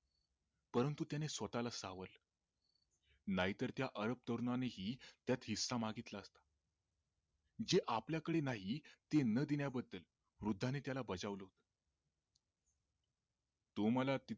परंतु त्याने स्वतःला सावरलं नाहीतर त्या अरब तरुणानेही त्यात हिस्सा मागितला असता जे आपल्या कडे नाही ते न देण्या बद्दल वृद्धाने त्याला बजावल होत तू मला